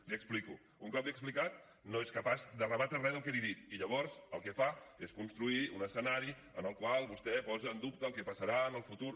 l’hi explico un cop l’hi he explicat no és capaç de rebatre re del que li he dit i llavors el que fa és construir un escenari en el qual vostè posa en dubte el que passarà en el futur